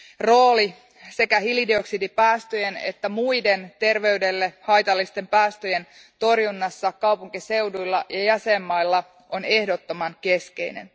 Rooli sekä hiilidioksidipäästöjen että muiden terveydelle haitallisten päästöjen torjunnassa kaupunkiseuduilla ja jäsenmailla on ehdottoman keskeinen.